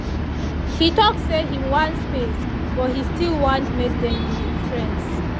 he talk say him wan space but he still want make them be friends